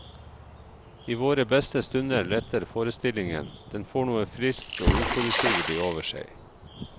I våre beste stunder letter forestillingen, den får noe friskt og uforutsigelig over seg.